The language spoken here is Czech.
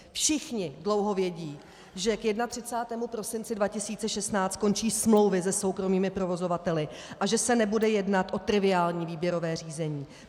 Všichni dlouho vědí, že k 31. prosinci 2016 končí smlouvy se soukromými provozovateli a že se nebude jednat o triviální výběrové řízení.